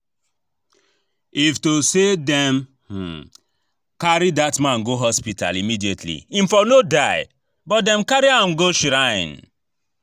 If to say dem um carry dat man go hospital immediately im for no die, but dem carry am go shrine